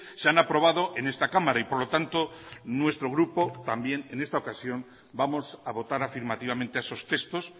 se han aprobado en esta cámara y por lo tanto nuestro grupo también en esta ocasión vamos a votar afirmativamente a esos textos